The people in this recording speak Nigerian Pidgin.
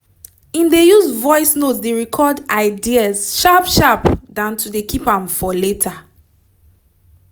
him dey use voice note dey record ideas sharp sharp dan to dey keep am for later